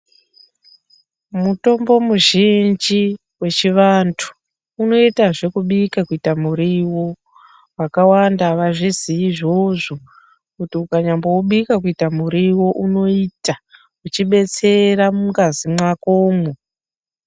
Mutombo muzhinji wechivantu unoitazve kubika kuita muriwo vakawanda avazvizii izvozvo kuti ukanyamboubika kuita muriwo unoita uchibetsera mungazi mwakomwo